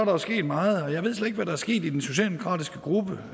jo sket meget og jeg ved slet ikke hvad der er sket i den socialdemokratiske gruppe